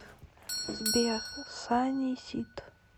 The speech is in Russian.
сбер санни сид